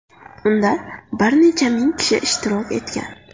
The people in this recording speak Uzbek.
Unda bir necha ming kishi ishtirok etgan .